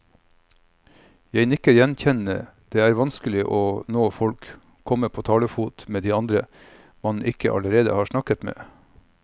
Jeg nikker gjenkjennende, det er vanskelig å nå folk, komme på talefot med de man ikke allerede har snakket med.